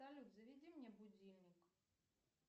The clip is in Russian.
салют заведи мне будильник